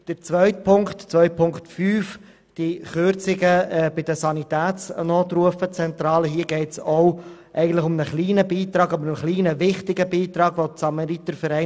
Zu den Kürzungen bei der Sanitätsnotrufzentrale: Hier geht es ebenfalls um einen kleinen, aber wichtigen Beitrag an den Kantonalverband bernischer Samaritervereine.